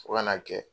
Fo ka n'a kɛ